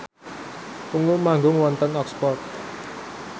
Ungu manggung wonten Oxford